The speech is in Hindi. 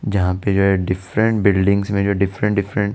जहा पे जो है डिफरेंट बिल्डिंगस में जो है डिफरेंट डिफरेंट --